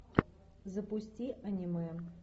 запусти аниме